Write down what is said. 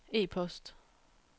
e-post